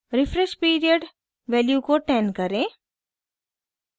refresh period value को 10 करें